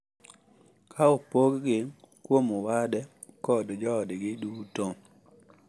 Ka opoggi kuom wade kod joodgi duto.